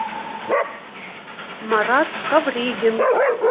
марат ковригин